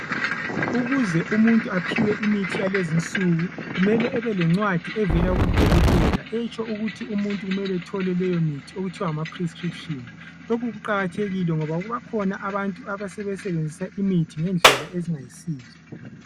Ukuze umuntu aphiwe imithi yalezinsuku kumele ebelencwadi evela kudokotela etsho ukuthi umuntu kumele ethole leyo mithi okuthiwa ngamaprescrition lokhu kuqakathekile ngoba bakhona abantu asebesenzisa imithi ngendlela ezingayisizo.